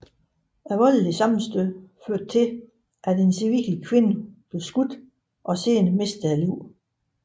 Det voldelige sammenstød førte til at en civil kvinde blev skudt og senere mistede livet